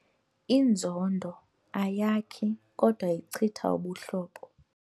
Inzondo ayakhi kodwa ichitha ubuhlobo.